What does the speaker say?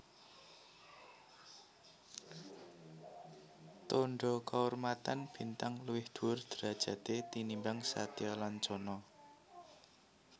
Tandha kaurmatan Bintang luwih dhuwur derajaté tinimbang Satyalancana